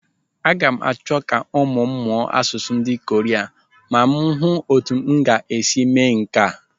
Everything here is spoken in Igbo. Aga m achọ ka ụmụ m mụọ asụsụ ndị Koria ma m hụ ọ́tụ́ m ga-esi mee nke a.